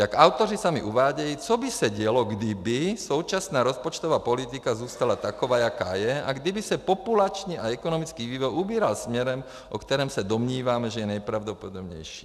Jak autoři sami uvádějí, co by se dělo, kdyby současná rozpočtová politika zůstala taková, jaká je, a kdyby se populační a ekonomický vývoj ubíral směrem, o kterém se domníváme, že je nejpravděpodobnější.